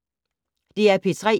DR P3